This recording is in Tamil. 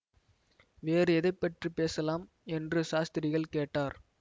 வேறு எதை பற்றி பேசலாம் என்று சாஸ்திரிகள் கேட்டார்